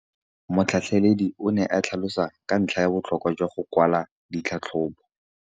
Motlhatlheledi o ne a tlhalosa ka ntlha ya botlhokwa jwa go kwala tlhatlhôbô.